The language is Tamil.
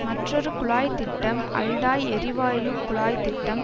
மற்றொரு குழாய் திட்டம் அல்டாய் எரிவாயு குழாய் திட்டம்